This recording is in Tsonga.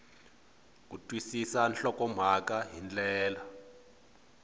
ku twisisa nhlokomhaka hi ndlela